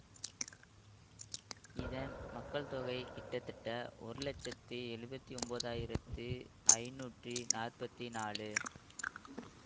இதன் மக்கள் தொகை கிட்டத்தட்ட ஒருலச்சத்தி எழுபத்தி ஒன்பதாயிரத்து ஐந்நூற்றி நாற்பத்தி நாலு